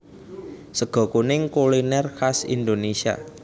Sega kuning kuliner khas Indonesia